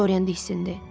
Dorian hissində.